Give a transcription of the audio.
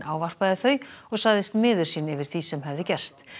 ávarpaði þau og sagðist miður sín yfir því sem hefði gerst